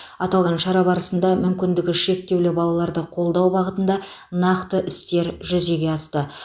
аталған шара барысында мүмкіндігі шектеулі балаларды қолдау бағытында нақты істер жүзеге асты